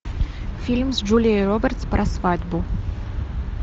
фильм с джулией робертс про свадьбу